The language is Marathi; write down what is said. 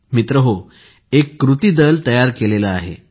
मित्रहो एक कृती दल तयार केले आहे